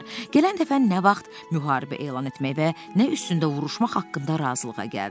Gələn dəfə nə vaxt müharibə elan etmək və nə üstündə vuruşmaq haqqında razılığa gəldilər.